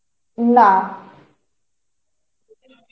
না